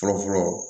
Fɔlɔfɔlɔ